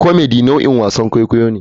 Comedy nau'in wasan kwaikwayo ne.